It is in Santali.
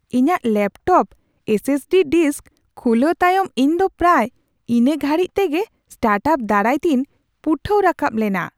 ᱤᱧᱟᱹᱜ laptop S S D disk ᱠᱷᱩᱞᱟᱣ ᱛᱟᱭᱢ ᱤᱧ ᱫᱚ ᱯᱨᱟᱭ ᱤᱱᱟᱹ ᱜᱷᱟᱹᱲᱤ ᱛᱮᱜᱮ ᱥᱴᱟᱨᱴ ᱟᱯ ᱫᱟᱨᱟᱭ ᱛᱤᱧ ᱯᱩᱴᱟᱹᱣ ᱨᱟᱠᱟᱵ ᱞᱮᱱᱟ ᱾